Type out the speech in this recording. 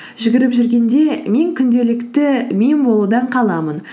жүгіріп жүргенде мен күнделікті мен болудан қаламын